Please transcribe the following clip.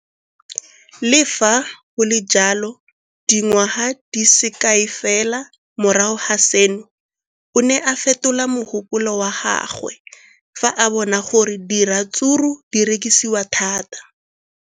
Le fa go le jalo, dingwaga di se kae fela morago ga seno, o ne a fetola mogopolo wa gagwe fa a bona gore diratsuru di rekisiwa thata.